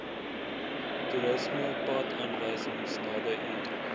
toerismepadaanwysing naby u